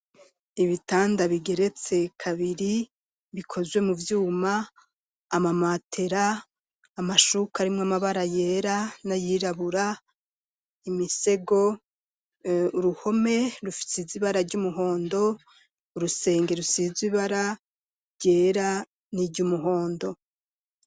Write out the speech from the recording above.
Ibitanda bigeretse kabiri bikozwe mu vyuma, amamatera, amashuka arimwo amabara yera n'ayirabura, imisego, uruhome rusize ibara ry'umuhondo, urusenge rusize ibara ryera n'iry'umuhondo.